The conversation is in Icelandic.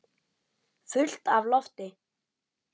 Fullt af lofti.